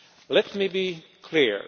Let me be clear.